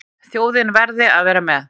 Þjóðin verði að vera með.